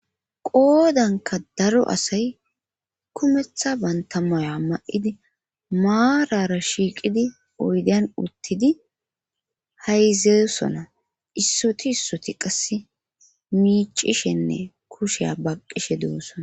Qoodanka daro asay kumetha bantamoya ma7idi maarara shiiqidi oydan uttidi hayzeysona issoti issoti qasse miicishenne kusheya baqqishe duossona